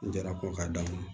N tɛra ko ka d'a ma